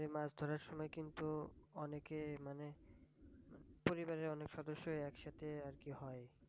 মাছ ধরার সময় কিন্তু অনেকে মানে পরিবারের অনেক সদস্যই একসাথেই আর কি হয়।